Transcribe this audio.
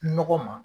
Nɔgɔ ma